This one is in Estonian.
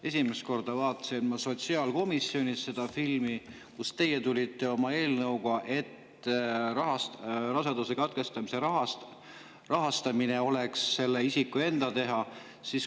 Esimest korda vaatasin ma seda filmi sotsiaalkomisjonis, kui te tulite oma eelnõuga, mille kohaselt raseduse katkestamise rahastamine oleks selle isiku enda teha.